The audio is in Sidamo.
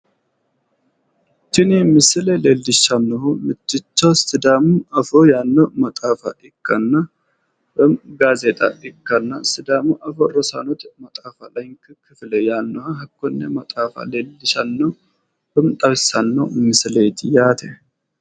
Tini misile leellishannohu mitticho sidaamu afoo yaanno maxaafa ikkanna woyi gaazeexa ikkanna sidaamu afoo rosaanote maxaafa layinki kifile yaanno hakkonne maxaafa leellishshanno woyim xawissanno misileeti yaate.